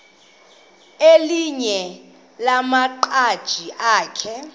elinye lamaqhaji akhe